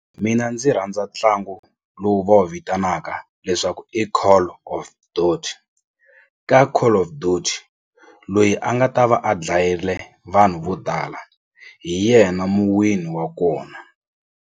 Mina ndzi rhandza ntlangu lowu va wu vitanaka leswaku i call of ka call of loyi a nga ta va a dlayile vanhu vo tala hi yena muwini wa kona.